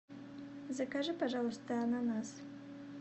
закажи пожалуйста ананас